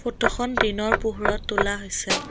ফটোখন দিনৰ পোহৰত তোলা হৈছে।